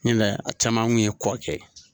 Ɲin a caman kun ye kɔɔkɛ ye.